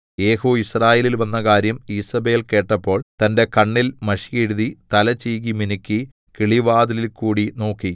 യേഹൂ യിസ്രായേലിൽ വന്ന കാര്യം ഈസേബെൽ കേട്ടപ്പോൾ തന്റെ കണ്ണിൽ മഷിയെഴുതി തല ചീകി മിനുക്കി കിളിവാതിലിൽകൂടി നോക്കി